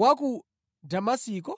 wa ku Damasiko?